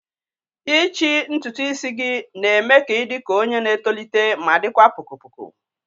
ichi ntutu isi gị na-eme ka ị dị ka onye na-etolite ma dịkwa poko poko